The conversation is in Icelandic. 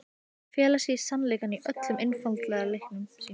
Þau fela í sér sannleikann í öllum einfaldleika sínum.